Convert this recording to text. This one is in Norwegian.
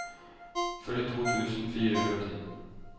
førtito tusen fire hundre og ti